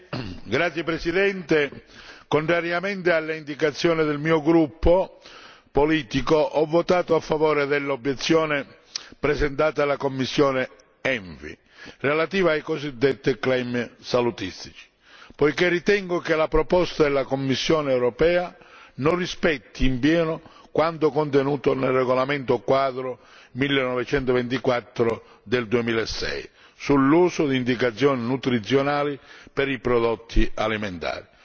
Signor Presidente, onorevoli colleghi, contrariamente alle indicazioni del mio gruppo politico, ho votato a favore dell'obiezione presentata alla commissione ENVI relativa ai cosiddetti salutistici, poiché ritengo che la proposta della Commissione europea non rispetti in pieno quanto contenuto nel regolamento quadro 1924 del 2006 sull'uso di indicazioni nutrizionali per i prodotti alimentari.